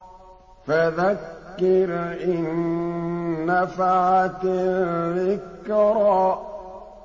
فَذَكِّرْ إِن نَّفَعَتِ الذِّكْرَىٰ